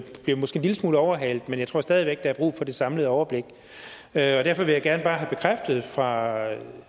vi måske en lille smule overhalet men jeg tror stadig væk at der er brug for det samlede overblik derfor vil jeg gerne bare have bekræftet fra